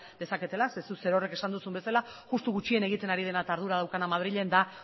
dezaketela zeren zuk zerorrek esan duzun bezala justu gutxien egiten ari dena eta ardura daukana madrilen da